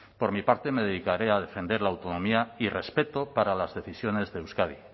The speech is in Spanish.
por mi parte me dedicaré a defender la autonomía y respeto para las decisiones de euskadi